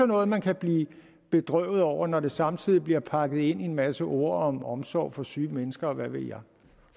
noget man kan blive bedrøvet over når det samtidig bliver pakket ind i en masse ord om omsorg for syge mennesker og hvad ved jeg